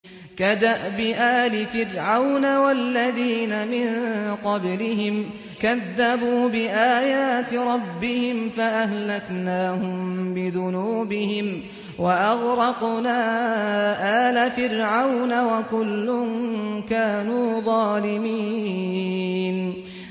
كَدَأْبِ آلِ فِرْعَوْنَ ۙ وَالَّذِينَ مِن قَبْلِهِمْ ۚ كَذَّبُوا بِآيَاتِ رَبِّهِمْ فَأَهْلَكْنَاهُم بِذُنُوبِهِمْ وَأَغْرَقْنَا آلَ فِرْعَوْنَ ۚ وَكُلٌّ كَانُوا ظَالِمِينَ